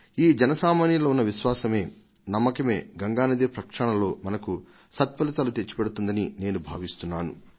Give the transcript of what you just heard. ఈ జన సామాన్యంలో ఉన్న విశ్వాసమే నమ్మకమే గంగా నది ప్రక్షాళనలో మనకు సత్ఫలితాలు తెచ్చిపెడుతుందని నేను భావిస్తున్నాను